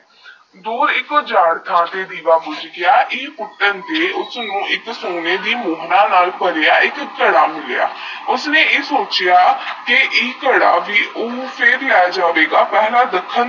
ਦੋ ਏਕ ਹੀ ਜਗ ਥਾ ਫਿਰ ਵੀ ਰਿਵਾ ਸੋਚ ਯਾ ਏਕ ਸੋਨਾ ਦੀ ਮੁਦਰਾ ਨਾਲ ਕਰਿਆ ਮਿਲਿਆ ਉਸਨੇ ਯਾ ਸੋਚਿਆ ਕੇ ਯੇ ਕਾਰਾ ਫਿਰ ਨੂੰ ਲੇ ਜਾਵਾ ਗਾ